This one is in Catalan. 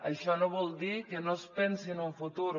això no vol dir que no es pensi en un futur